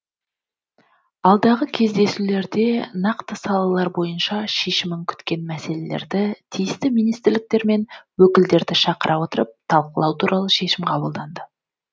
алдағы кездесулерде нақты салалар бойынша шешімін күткен мәселелерді тиісті министрліктер мен өкілдерді шақыра отырып талқылау туралы шешім қабылданды